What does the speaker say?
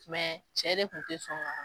Mɛ cɛ de tun tɛ sɔn ka